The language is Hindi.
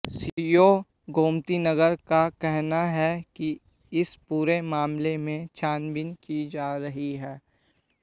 सीओ गोमतीनगर का कहना है कि इस पूरे मामले में छानबीन की जा रही है